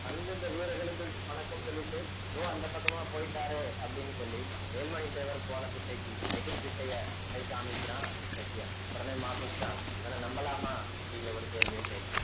வந்து அந்தந்த வீரர்களுக்கு வணக்கம் சொல்லிட்டு இதோ அந்த பக்கமா போயிட்டாரே அப்படின்னு சொல்லி வேல்மணி தேவர் போன திசைக்கு எதிர்திசைய கை காமிக்கிறான் வெட்டியான் உடனே மபோஸ்கான் இவனை நம்பலாமா அப்படிங்கிற ஒரு கேள்வியை கேட்கிறான்